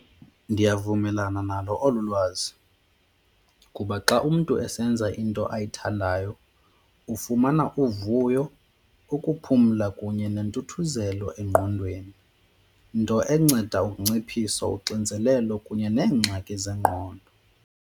Ndiyavumelana nalo olu lwazi kuba xa umntu esenza into ayithandayo ufumana uvuyo, ukuphumla kunye nentuthuzelo engqondweni, nto enceda unciphiso uxinzelelo kunye neengxaki zengqondo.